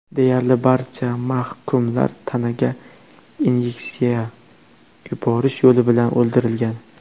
Deyarli barcha mahkumlar tanaga inyeksiya yuborish yo‘li bilan o‘ldirilgan.